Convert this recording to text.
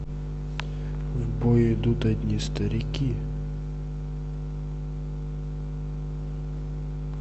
в бой идут одни старики